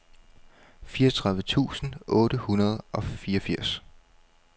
fireogtredive tusind otte hundrede og fireogfirs